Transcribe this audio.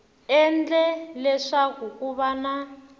endle leswaku ku va na